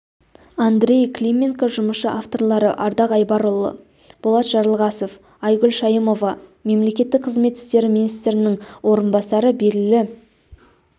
андрей клименко жұмысшы авторлары ардақ айбарұлы болат жарылғасов айгүл шайымова мемлекеттік қызмет істері министрінің орынбасары белгілі